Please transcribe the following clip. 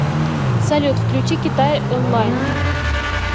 салют включи китай онлайн